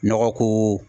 Nɔgɔ ko